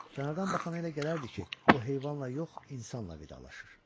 Kənardan baxana elə gələrdi ki, o heyvanla yox, insanla vidalaşır.